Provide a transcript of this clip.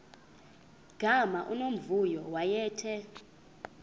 gama unomvuyo wayethe